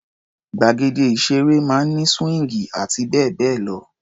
Gbàgede ìṣeré máa ń ní síwíńgì àti bẹ́ẹ̀ bẹ́ẹ̀ lọ.